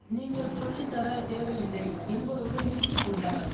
நீங்கள் சொல்லித்தர தேவையில்லை என்பதோடு நிறுத்தி கொண்டார்